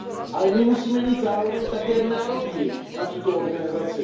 Ale my musíme mít zároveň také nároky na tuto organizaci.